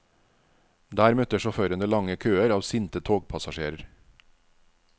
Der møtte sjåførene lange køer av sinte togpassasjerer.